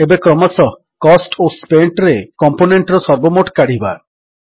ଏବେ କ୍ରମଶଃ କୋଷ୍ଟ ଓ Spentରେ କମ୍ପୋନେଣ୍ଟର ସର୍ବମୋଟ କାଢ଼ିବା